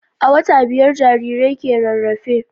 A wata biyar jarirai ke rarafe.